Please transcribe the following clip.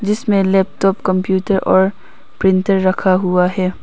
जिसमें laptop computer और printer रखा हुआ है।